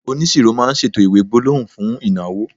onisoro ma n ṣètò iwe gbólóhùn fún ìnáwó